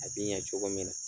A b'i ɲɛ cogo min na.